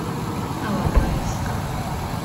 алапаевска